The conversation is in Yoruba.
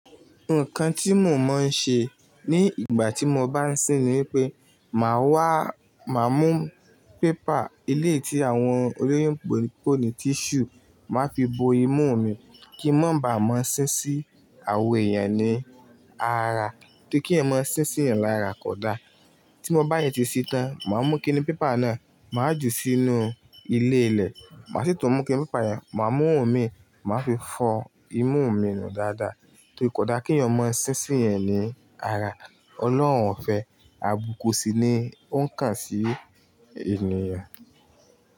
Nǹkan tí mo máa ń ṣe ní ìgbà tí mo bá ń sín ni pé màá wá, màá mú pépà ilé tí àwọn olóyún ń póni tíṣù, màá fi bo imú mi kí n mó bá mọ́ sín sí awọn èèyàn ní ara tóri kí èèyàn má sín sí ẹ̀yan lára kódà. Tí mo bá de ti ṣin tán, màá mú kinni pépà náà, màá ju sínú ilé ilẹ̀, màá sì tún mú kinni pépà yẹn, màá mú i mi, màá fi fọ́ imú minù dáadáa tó kódà kí èèyàn máa sín sí ẹ̀yin ní ara. Ọlọ́run o fẹ́, àbúko sì ni ó ń kàn sí ènìyàn.